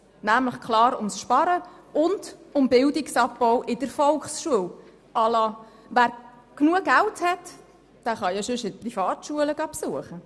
Es geht klar um das Sparen und um einen Bildungsabbau in der Volksschule nach dem Motto, wer genug Geld hat, kann ja eine Privatschule besuchen.